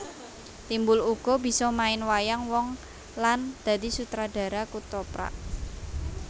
Timbul uga bisa main wayang wong lan dadi sutradara kethoprak